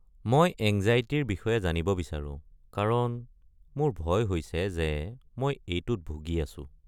মই এঙ্জাইটিৰ বিষয়ে জানিব বিচাৰো কাৰণ মোৰ ভয় হৈছে যে মই এইটোত ভুগি আছো।